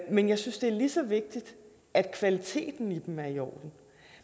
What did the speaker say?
men jeg synes det er lige så vigtigt at kvaliteten i dem er i orden